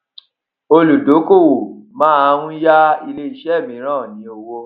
olùdókòwò màa n yá ilé iṣé mìíràn lówó